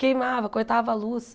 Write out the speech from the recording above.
Queimava, cortava a luz.